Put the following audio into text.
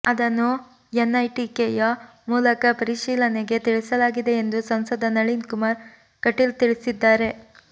ಅದನ್ನು ಎನ್ಐಟಿಕೆಯ ಮೂಲಕ ಪರಿಶೀಲನೆಗೆ ತಿಳಿಸಲಾಗಿದೆ ಎಂದು ಸಂಸದ ನಳಿನ್ ಕುಮಾರ್ ಕಟೀಲ್ ತಿಳಿಸಿದ್ದಾರೆ